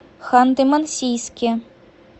ханты мансийске